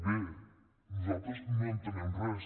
bé nosaltres no entenem res